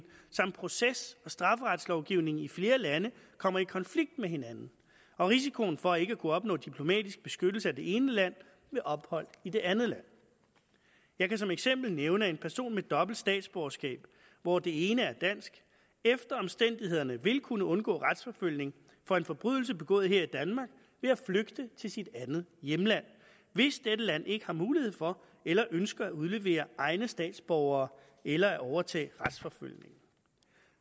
samt proces og strafferetslovgivningen i flere lande kommer i konflikt med hinanden og risikoen for ikke at kunne opnå diplomatisk beskyttelse af det ene land ved ophold i det andet land jeg kan som eksempel nævne at en person med dobbelt statsborgerskab hvor det ene er dansk efter omstændighederne vil kunne undgå retsforfølgning for en forbrydelse begået her i danmark ved at flygte til sit andet hjemland hvis dette land ikke har mulighed for eller ønsker at udlevere egne statsborgere eller at overtage retsforfølgningen